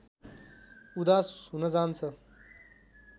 उदास हुन जान्छ